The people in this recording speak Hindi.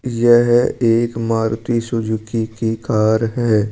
यह एक मारुति सुजुकी की कार है।